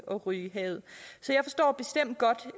at ryge i havet så jeg forstår bestemt godt